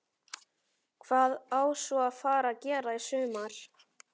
Hvað á svo að fara að gera í sumar?